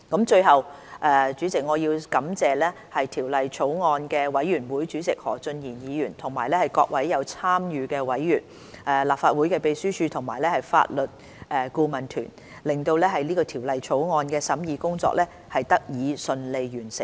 最後，我要感謝法案委員會主席何俊賢議員及各位參與審議的委員、立法會秘書處和法律顧問團隊，令《條例草案》的審議工作得以順利完成。